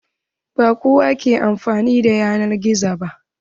Ba kowa ke amfani da yanar gizo ba.